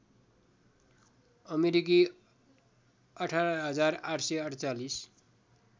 अमेरिकी १८८४८